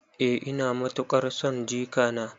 Eh ina matuƙar son jikana.